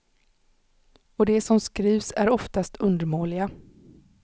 Och de som skrivs är oftast undermåliga.